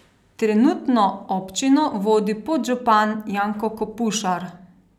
Trenutno občino vodi podžupan Janko Kopušar.